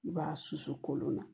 I b'a susu kolon na